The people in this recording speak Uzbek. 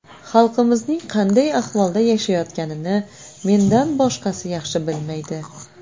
Xalqimizning qanday ahvolda yashayotganini mendan boshqasi yaxshi bilmaydi.